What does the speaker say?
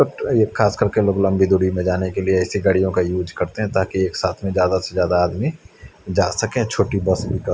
खास कर के लोग लम्बी दुरीमें जाने के लिए ऐसी गाड़िया का यूज़ कर रहे है ताकि एक साथ ज्यादा से ज्यादा आदमी ज्यासके छोटी बस --